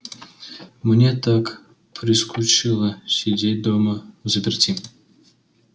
мне так прискучило сидеть дома взаперти